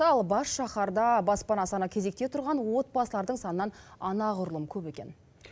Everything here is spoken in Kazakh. ал басшаһарда баспана саны кезекте тұрған отбасылардың санынан анағұрлым көп екен